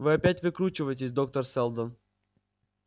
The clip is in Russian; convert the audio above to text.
вы опять выкручиваетесь доктор сэлдон